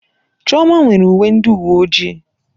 Chioma nwere uwe ndị uwe ojii.